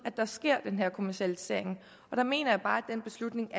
der sker den her kommercialisering og der mener jeg bare at den beslutning